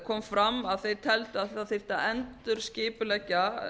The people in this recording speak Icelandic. kom fram að þeir telur að það þyrfti að endurskipuleggja